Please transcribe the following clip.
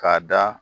K'a da